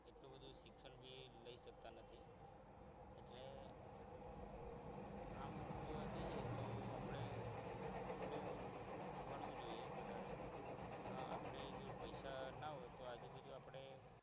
શિક્ષણ બી લઈ શકતા નથી એટલે આમ જોવા જઈએ તો આપણે થોડું ભણવું જોઈએ વધારે આપણે જ પૈસા ના હોય તો આજુબાજુ આપણે